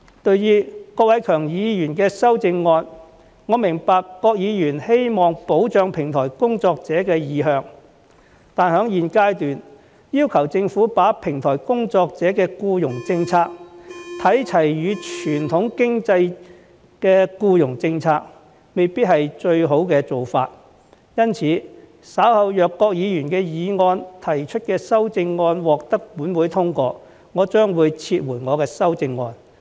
對於郭偉强議員的修正案，我明白郭議員希望保障平台工作者的意向，但在現階段，要求政府把平台工作者的僱傭政策與傳統經濟的僱傭政策看齊，未必是最好的做法，因此，稍後若郭議員就議案提出的修正案獲本會通過，我將撤回我的修正案。